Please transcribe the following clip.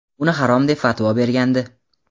uni harom deb fatvo bergandi.